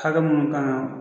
Hakɛ minnu kan ka